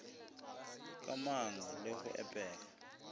ka manga le go epega